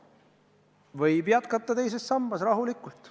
Võib rahulikult teises sambas jätkata.